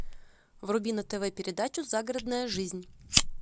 вруби на тв передачу загородная жизнь